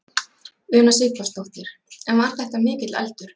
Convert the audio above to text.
Una Sighvatsdóttir: En var þetta mikill eldur?